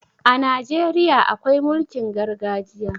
A Najeriya akwai mulkin gargajiya.